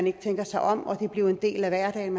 ikke tænker sig om og at det er blevet en del af hverdagen